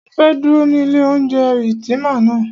Mọ fẹ́ dúró ní ilé oúnjẹ Ultima ná.